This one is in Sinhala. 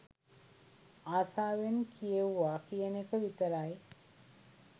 ආසාවෙන් කියවේවා කියන එක විතරයි.